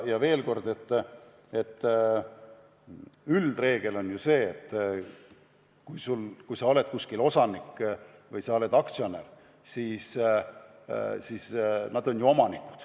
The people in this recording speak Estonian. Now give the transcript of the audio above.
Ja veel kord: üldreegel on ju see, et kui sa oled kuskil osanik või aktsionär, siis sa oled ju omanik.